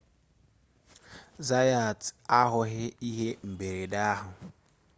zayat ahụghị ihe mberede ahụ